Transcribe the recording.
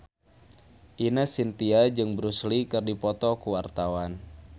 Ine Shintya jeung Bruce Lee keur dipoto ku wartawan